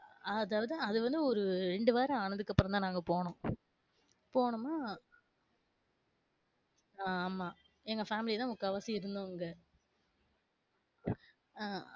அதாவது அது வந்து ஒரு ரெண்டு வாரம் ஆனது அப்பறம் தான் நாங்க போனோம். போனோமா ஆமா எங்க family தான் முக்காவாசி இருந்தவங்க.